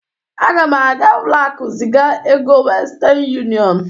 Aga m aga ụlọaku ziga ego westen yụniọn